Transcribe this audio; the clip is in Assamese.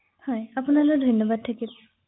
কু অ কু অ